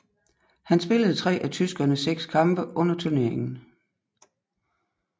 Han spillede tre af tyskernes seks kampe under turneringen